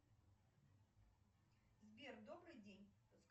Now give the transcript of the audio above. сбер добрый день